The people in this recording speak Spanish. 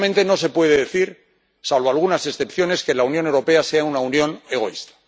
Sinceramente no se puede decir, salvo algunas excepciones, que la Unión Europea sea una unión egoísta.